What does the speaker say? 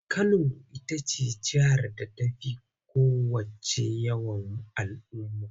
Kano ita ce jihar da ta fi kowacce yawan al'ummu.